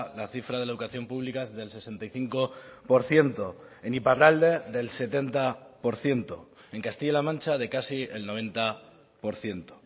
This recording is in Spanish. la cifra de la educación pública es del sesenta y cinco por ciento en iparralde del setenta por ciento en castilla la mancha de casi el noventa por ciento